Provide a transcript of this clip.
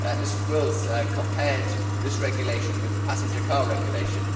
Mrs Wils compared this regulation with the passenger car regulation.